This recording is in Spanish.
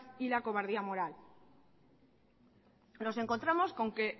y la cobardía moral nos encontramos con que